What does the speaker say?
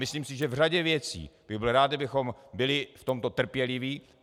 Myslím si, že v řadě věcí bych byl rád, kdybychom byli v tomto trpěliví.